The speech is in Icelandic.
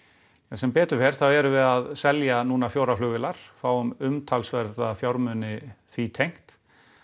sem betur fer þá erum við núna að selja fjórar flugvélar fáum umtalsverða fjármuni því tengt